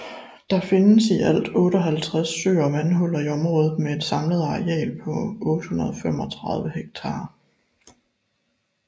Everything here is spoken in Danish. Der findes i alt 58 søer og vandhuller i området med et samlet areal på 835 ha